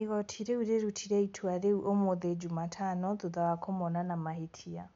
Igoti rĩu rĩrutire itua rĩu ũmũthĩ Jumatano thutha wa kũmona na mahĩtia.